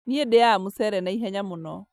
Niĩ ndĩaga mũcere na ihenya mũno